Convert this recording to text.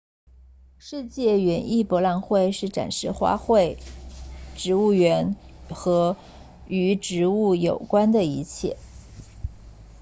世界园艺博览会是展示花卉植物园和与植物有关的一切